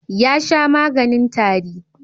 Ya sha maganin tari.